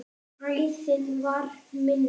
Æðin var minni.